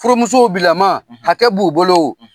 Furumusow bilama hakɛ b'u bolo